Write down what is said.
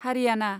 Haryana